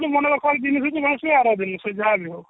ମନେ ରଖିବାର ଗନେଶ ପୂଜା ଆର ଦିନ ସେ ଯାହାବି ହଉ